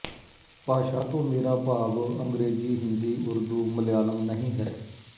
ਭਾਸ਼ਾ ਤੋਂ ਮੇਰਾ ਭਾਵ ਅੰਗਰੇਜ਼ੀ ਹਿੰਦੀ ਉਰਦੂ ਮਲਿਆਲਮ ਨਹੀਂ ਹੈ